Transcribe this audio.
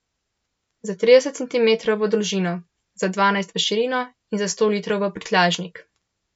Za trideset centimetrov v dolžino, za dvanajst v širino in za sto litrov v prtljažnik.